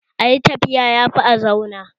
Ayi tafiya yafi a zauna